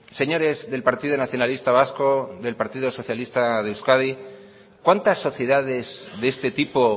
señores del partido nacionalista vasco del partido socialista de euskadi cuántas sociedades de este tipo